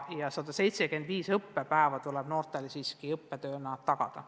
175 õppepäeva tuleb noortele õppetöö jaoks tagada.